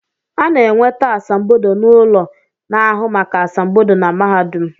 A na-enweta asambodo n’ụlọ na-ahụ maka asambodo na mahadum